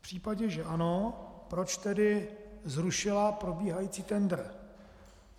V případě, že ano, proč tedy zrušila probíhající tendr?